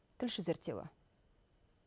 тілші зерттеуі